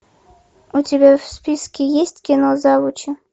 у тебя в списке есть кино завучи